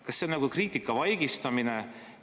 Kas see on kriitika vaigistamine?